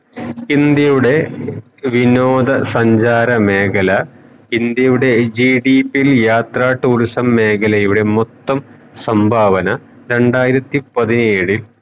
ഇന്ത്യയുടെ വിനോദ സഞ്ചാര മേഖല ഇന്ത്യയുടെ യാത്ര tourism മേഖലയുടെ മൊത്തം സംഭാവന രണ്ടായിരത്തി പതിനേഴിൽ